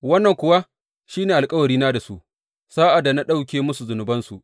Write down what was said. Wannan kuwa shi ne alkawarina da su sa’ad da na ɗauke musu zunubansu.